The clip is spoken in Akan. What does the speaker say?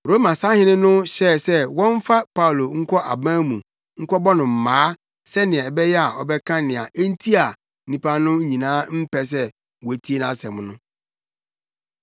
Roma sahene no hyɛɛ sɛ wɔmfa Paulo nkɔ aban mu nkɔbɔ no mmaa sɛnea ɛbɛyɛ a ɔbɛka nea enti a nnipa no nyinaa mpɛ sɛ wotie nʼasɛm no.